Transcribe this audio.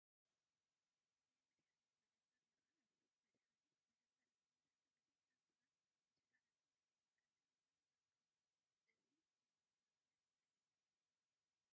ናይ መድሓኒት መደብር ይርአ ኣሎ፡፡ መድሓኒት መደብራት መብዛሕትኡ ግዜ ኣብ ጥቓ ሆስፒታላትን ክሊኒካትን እዮም ዝርከቡ፡፡ እዚ ዝኾነሉ ምኽንያት እንታይ እዩ?